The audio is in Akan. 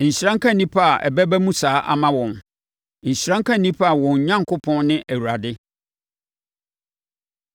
Nhyira nka nnipa a ɛbɛba mu saa ama wɔn. Nhyira nka nnipa a wɔn Onyankopɔn ne Awurade.